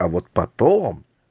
а вот потом